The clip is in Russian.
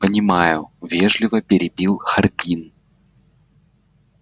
понимаю вежливо перебил хардин